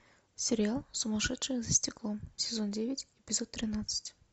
сериал сумасшедшие за стеклом сезон девять эпизод тринадцать